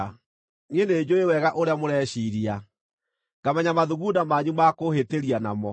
“Niĩ nĩnjũũĩ wega ũrĩa mũreciiria, ngamenya mathugunda manyu maakũhĩtĩria namo.